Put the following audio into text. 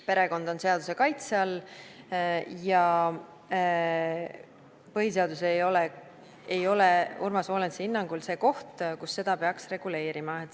Perekond on seaduse kaitse all ja põhiseadus ei ole Urmas Volensi hinnangul see koht, kus seda peaks reguleerima.